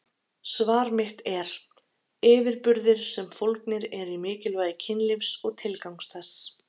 Svar mitt er: yfirburðir sem fólgnir eru í mikilvægi kynlífs og tilgangs þess.